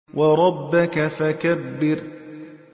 وَرَبَّكَ فَكَبِّرْ